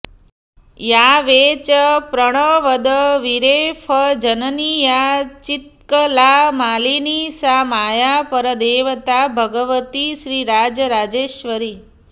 या वै च प्रणवद् विरेफजननी या चित्कलामालिनी सा माया परदेवता भगवती श्रीराजराजेश्वरी